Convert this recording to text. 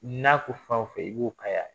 N'a ko fanw fɛn i b'o kayaaa